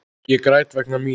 Ég græt vegna mín.